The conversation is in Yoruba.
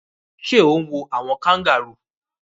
Sé o n wo àwon kangaroo